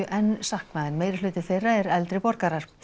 enn saknað en meirihluti þeirra er eldri borgarar